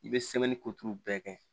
I bɛ koturu bɛɛ kɛ